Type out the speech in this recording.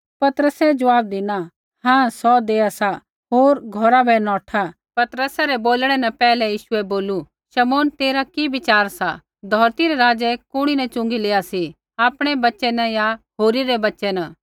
पतरसै ज़वाब धिना हाँ सौ देआ सा होर घौरा बै नौठा पतरसै रै बोलणै न पैहलै यीशुऐ बोलू शमौन तेरा कि विचार सा धौरती रै राज़ै कुणी न च़ुँगी लेआ सी आपणै बच्च़ै न या होरी रै बच्च़ै न